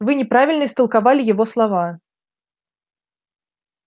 вы неправильно истолковали его слова